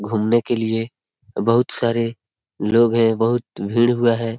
घूमने के लिए बहुत सारे लोग है। बहुत भीड़ हुआ है।